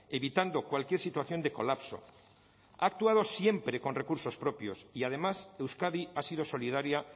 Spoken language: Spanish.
evitando cualquier situación de colapso ha actuado siempre con recursos propios y además euskadi ha sido solidaria